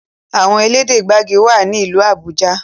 Àwọn elédè gbagi wá ní ilú Abuja.